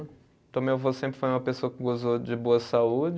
Então meu avô sempre foi uma pessoa que gozou de boa saúde.